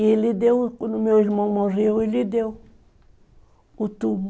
E ele deu, quando meu irmão morreu, ele deu o túmulo.